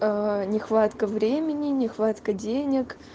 а нехватка времени нехватка денег